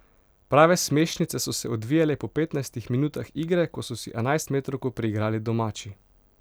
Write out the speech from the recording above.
Prave smešnice so se odvijale po petnajstih minutah igre, ko so si enajstmetrovko priigrali domači.